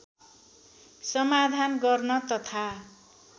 समाधान गर्न तथा